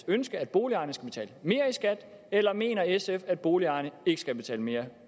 ønske at boligejerne skal betale mere i skat eller mener sf at boligejerne ikke skal betale mere